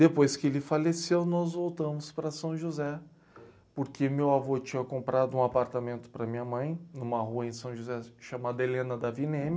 Depois que ele faleceu, nós voltamos para São José, porque meu avô tinha comprado um apartamento para minha mãe, numa rua em São José, chamada Helena da Vineme,